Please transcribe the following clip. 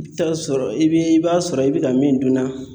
I bi taa sɔrɔ i bi i b'a sɔrɔ i bi ka min dun na